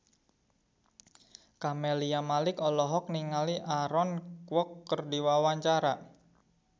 Camelia Malik olohok ningali Aaron Kwok keur diwawancara